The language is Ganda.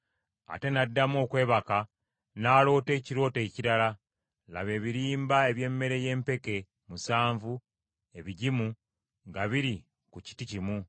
Ate n’addamu okwebaka n’aloota ekirooto ekirala, laba ebirimba eby’emmere ey’empeke musanvu ebigimu nga biri ku kiti kimu.